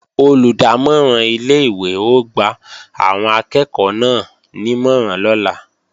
Olùdámọ̀ràn ilé-ìwé ó gba àwọn akẹ́ẹ̀kọ́ náà nímọ̀ràn lọ́la